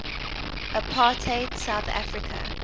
apartheid south africa